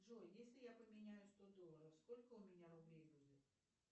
джой если я поменяю сто долларов сколько у меня рублей будет